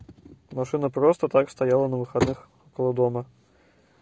машина просто так стояла на выходных около дома